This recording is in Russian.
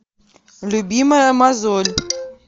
любимая мозоль